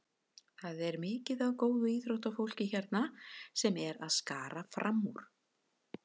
Það er mikið af góðu íþróttafólki hérna sem er að skara fram úr.